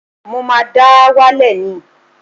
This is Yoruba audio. Mo máa dà á wálẹ̀ ni